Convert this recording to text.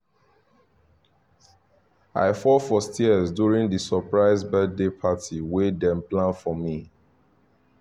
i fall for stairs during the surprise birthday party wey dem plan for me